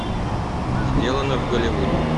сделано в голливуде